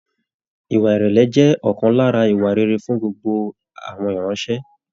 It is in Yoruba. Ìwà ìrẹlẹ jẹ ọkan lára ìwà rere fún gbogbo iranṣẹ.